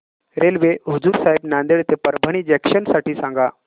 railway Hazur Sahib Nanded ते Parbhani junction साठी सांगा